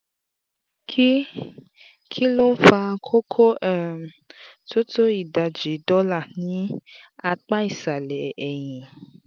kí kí ló ń fa koko um tó tó ìdajì dọ́là ní apá ìsàlẹ̀ ẹ̀yìn?